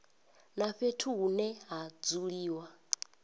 na fhethu hune ha dzuliwa